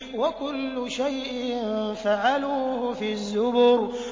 وَكُلُّ شَيْءٍ فَعَلُوهُ فِي الزُّبُرِ